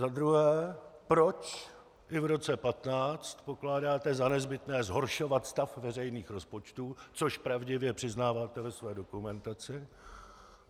Za druhé, proč i v roce 2015 pokládáte za nezbytné zhoršovat stav veřejných rozpočtů - což pravdivě přiznáváte ve své dokumentaci.